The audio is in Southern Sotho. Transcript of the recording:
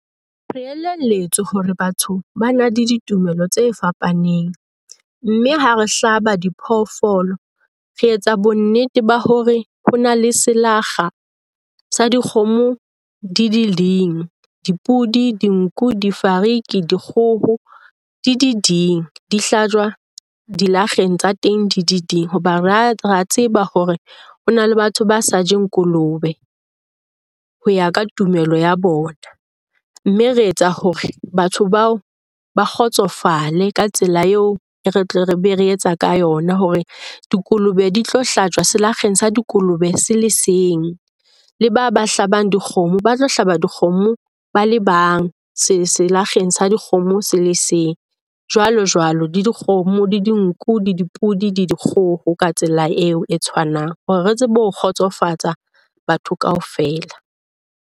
Re elelletswe hore batho ba na le ditumelo tse fapaneng. Mme ha re hlaba diphoofolo, re etsa bonnete ba hore ho na le selakga sa dikgomo di di leng. Dipodi, dinku, difariki, dikgoho, di di ding . Di hlajwa dilakgeng tsa teng di di ding hoba ra ra tseba hore ho na le batho ba sa jeng kolobe ho ya ka tumelo ya bona. Mme re etsa hore batho bao ba kgotsofale ka tsela eo re tle re be re etsa ka yona hore dikolobe di tlo hlajwa selakgeng sa dikolobe se le seng. Le ba ba hlabang dikgomo ba tlo hlaba dikgomo le bang selakgeng sa dikgomo se le seng, jwalojwalo. Le dikgomo le dinku, le dipodi le dikgoho ka tsela eo e tshwanang. Hore re tsebe ho kgotsofatsa batho kaofela.